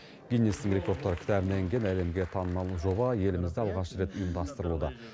гиннестің рекордтар кітабына енген әлемге танымал жоба елімізде алғаш рет ұйымдастырылуда